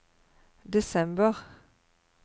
desember